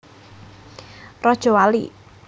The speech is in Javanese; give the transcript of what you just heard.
Rajawali